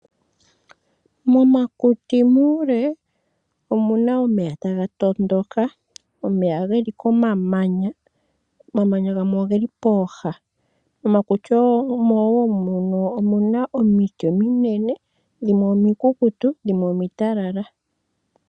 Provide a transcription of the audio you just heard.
Momakuti muule omuna omeya taga tondoka omeya geli komamanya, omamanya gamwe oge li pooha mokuti omo woo muno omuna omiti ominene, dhimwe omikukutu dhimwe omitalala.